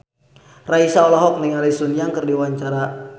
Raisa olohok ningali Sun Yang keur diwawancara